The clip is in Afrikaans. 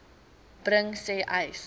bring sê uys